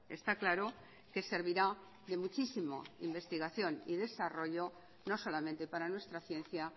está claro que servirá de muchísimo investigación y desarrollo no solamente para nuestra ciencia